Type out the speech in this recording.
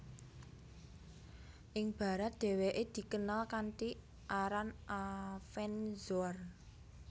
Ing barat dheweke dikenal kanthi aran Avenzoar